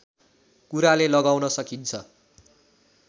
कुराले लगाउन सकिन्छ